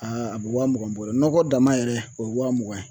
Aa a bɛ wa mugan bɔ nɔgɔ dama yɛrɛ o ye wa mugan ye